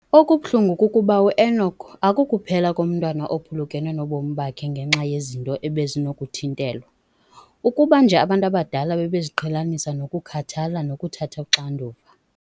Okubuhlungu kukuba u-Enock akukuphela komntwana ophulukene nobomi bakhe ngenxa yezinto ebezinokuthintelwa, ukuba nje abantu abadala bebeziqhelanise nokukhathala nokuthatha uxanduva.